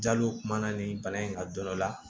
Jaliw kumana nin bana in ka dɔ la